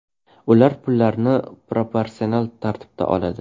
Ular pullarini proporsional tartibda oladi.